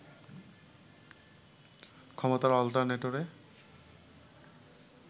ক্ষমতার অল্টারনেটরে